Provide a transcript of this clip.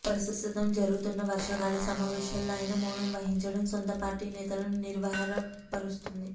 ప్రస్తుతం జరుగుతున్న వర్షాకాల సమావేశాల్లో ఆయన మౌనం వహించడం సొంతపార్టీ నేతలను నిర్వరపరుస్తోంది